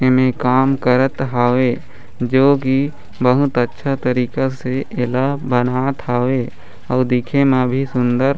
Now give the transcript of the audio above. एमे काम करत हावे जो की बहुत अच्छा तरीका से एला बनात हावे अउ दिखे म भी सुन्दर--